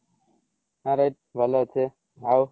ଆରେ ଭଲ ଅଛି ରେ ଆଉ